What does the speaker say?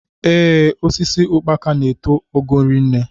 Ee, osisi ukpaka n'eto ogo rinne.